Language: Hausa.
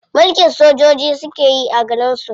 Mulkin sojoji suke yi a garin su.